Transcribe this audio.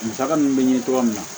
Musaka min bɛ ɲini tuma min na